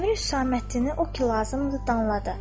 Əmir Hüsəməddini o ki lazımdı danladı.